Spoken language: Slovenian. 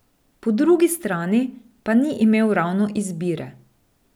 Po drugi strani pa ni imel ravno izbire.